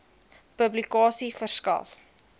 publikasie verskaf